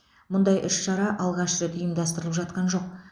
мұндай іс шара алғаш рет ұйымдастырылып жатқан жоқ